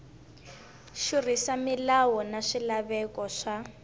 xurhisa milawu na swilaveko swa